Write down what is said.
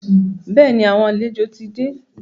Bẹ́ẹ̀ni, àwọn àlejò ti dé.